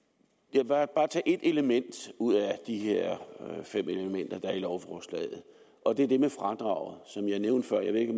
vil bare tage et element ud af de her fem elementer der er i lovforslaget og det er det med fradraget som jeg nævnte før jeg ved ikke